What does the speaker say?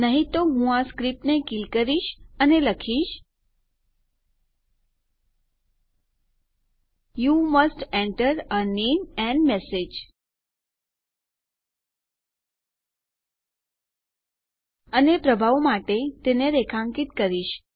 નહી તો હું આ સ્ક્રીપ્ટને કીલ કરી લખીશ you must enter a name and message અને પ્રભાવ માટે તેને રેખાંકિત કરીશ